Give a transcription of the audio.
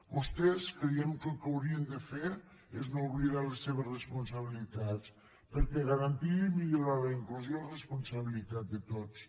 vostès creiem que el que haurien de fer és no oblidar les seves responsabilitats per garantir i millorar la inclusió és responsabilitat de tots